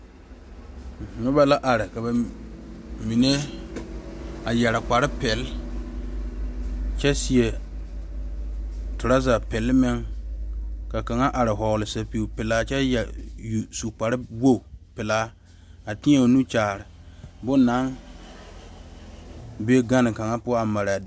Noba la are ka bamine a yeere kpare pele kyɛ seɛ traza pele meŋ ka kaŋa are vɔgle zupele pelaa kyɛ yeere su kpare wogi pelaa a kyɛ teɛ o nu Kyaara bon naŋ be gane kaŋ poɔ mare be.